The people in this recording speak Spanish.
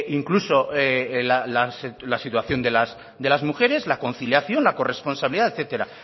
incluso la situación de las mujeres la conciliación la corresponsabilidad etcétera